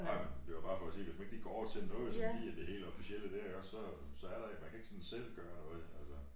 Ej men det var bare for at sige hvis man ikke lige går til noget sådan lige af et helt officielle dér iggås så så er der man kan ikke lige sådan selv gøre noget altså